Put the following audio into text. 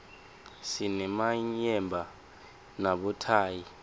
sinemayemba nabothayi